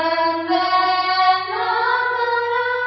Vande Mataram